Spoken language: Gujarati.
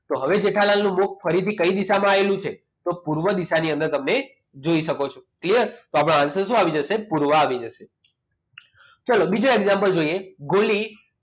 તો હવે જેઠાલાલ નું મુખ ફરીથી કઈ દિશામાં આવેલું છે તો પૂર્વ દિશામાં અંદરની અંદર તમે જોઈ શકો છો clear તો આપણો answer શું આવી જશે પૂર્વ આવી જશે તો ચાલો બીજો example જોઈએ ગોલી